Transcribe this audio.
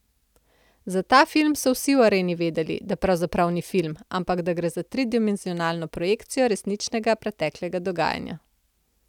Za ta film so vsi v areni vedeli, da pravzaprav ni film, ampak da gre za trodimenzionalno projekcijo resničnega preteklega dogajanja.